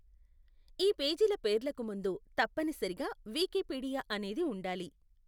ఈ పేజీల పేర్లకు ముందు తప్పనిసరిగా వికీపీడియా అనేది ఉండాలి.